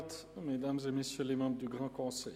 Dann hat Herr Regierungsrat Schnegg das Wort.